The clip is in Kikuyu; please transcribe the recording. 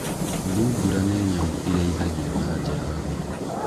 Thungura nĩ nyamũ ĩrĩithagio na njĩra hũthũ.